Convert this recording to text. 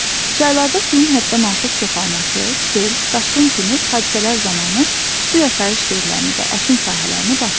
Çaylarda suyun həddən artıq çoxalması sel, daşqın kimi hadisələr zamanı su yaşayış yerlərini və əkin sahələrini basır.